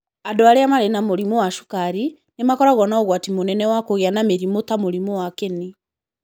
Andũ arĩa marĩ na mũrimũ wa cukari, nĩ makoragwo na ũgwati mũnene wa kũgĩa na mĩrimũ ta mũrimũ wa kĩni.